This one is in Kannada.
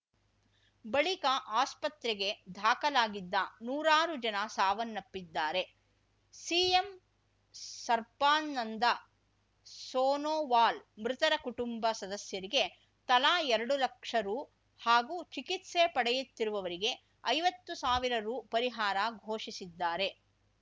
ಬಳಿಕ ಆಸ್ಪತ್ರೆಗೆ ದಾಖಲಾಗಿದ್ದ ನೂರಾರು ಜನ ಸಾವನ್ನಪ್ಪಿದ್ದಾರೆ ಸಿಎಂ ಸರ್ಪಾನಂದ ಸೋನೋವಾಲ್‌ ಮೃತರ ಕುಟುಂಬ ಸದಸ್ಯರಿಗೆ ತಲಾ ಎರಡು ಲಕ್ಷ ರು ಹಾಗೂ ಚಿಕಿತ್ಸೆ ಪಡೆಯುತ್ತಿರುವವರಿಗೆ ಐವತ್ತು ಸಾವಿರ ರು ಪರಿಹಾರ ಘೋಷಿಸಿದ್ದಾರೆ